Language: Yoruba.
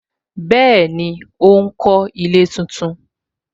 Bẹẹni, ó ń kọ ilé tuntun